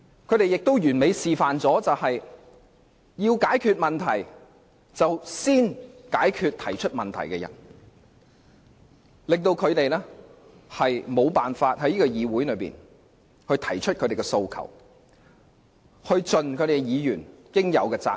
他們完美示範了一件事：要解決問題，便先要解決提出問題的議員，令他們無法在議會內提出訴求或盡議員應盡的責任。